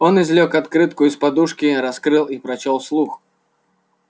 он извлёк открытку из-под подушки раскрыл и прочёл вслух